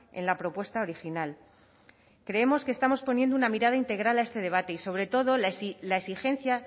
en la propuesta original creemos que estamos poniendo una mirada integral a este debate y sobre todo la exigencia